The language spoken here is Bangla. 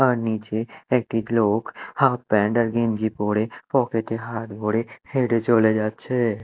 আর নীচে একটি লোক হাফ প্যান্ট আর গেঞ্জি পরে পকেট -এ হাত ভরে হেঁটে চলে যাচ্ছে।